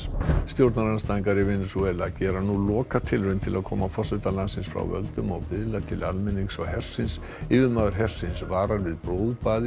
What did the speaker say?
stjórnarandstæðingar í Venesúela gera nú lokatilraun til að koma forseta landsins frá völdum og biðla til almennings og hersins yfirmaður hersins varar við blóðbaði